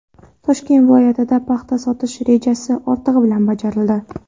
Toshkent viloyatida paxta sotish rejasi ortig‘i bilan bajarildi.